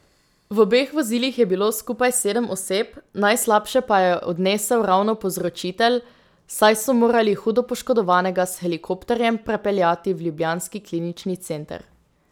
V obeh vozilih je bilo skupaj sedem oseb, najslabše pa jo je odnesel ravno povzročitelj, saj so morali hudo poškodovanega s helikopterjem prepeljati v ljubljanski klinični center.